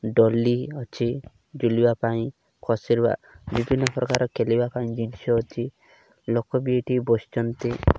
ଦୋଳି ଅଛି ଝୁଳିବା ପାଇଁ ବସିବା ବିଭିନ୍ନ ପ୍ରକାରର ଖାଲିବା ପାଇଁ ଜିନିଷ ଅଛି ଲୋକ ବି ଏଠି ବସିଛନ୍ତି।